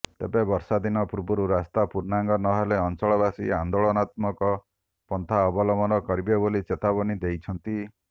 ତେବେ ବର୍ଷାଦିନ ପୂର୍ବରୁ ରାସ୍ତା ପୂର୍ଣ୍ଣାଙ୍ଗ ନହେଲେ ଅଞ୍ଚଳବାସୀ ଆନେ୍ଦାଳନାତ୍ମକ ପନ୍ଥା ଅବଲମ୍ବନ କରିବେ ବୋଲି ଚେତାବନୀ ଦେଇଛନ୍ତି